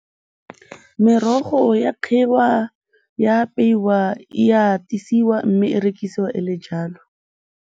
Merogo e a kgiwa, e a apeiwa, e a mme e rekisiwa e le jalo.